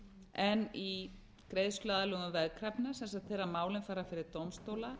en í greiðsluaðlögun veðkrafna þegar málin fara fyrir dómstóla